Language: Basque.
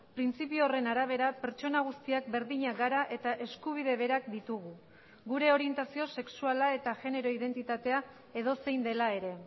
printzipio horren arabera pertsona guztiak berdinak gara eta eskubide berak ditugu gure orientazio sexuala eta genero identitatea edozein dela ere